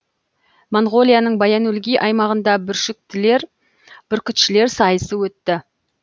моңғолияның баян өлгий аймағында бүркітшілер сайысы өтті